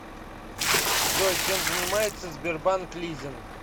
джой чем занимается сбербанк лизинг